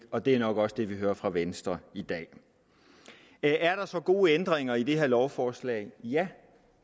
og det er nok også det vi hører fra venstre i dag er der så gode ændringer i det her lovforslag ja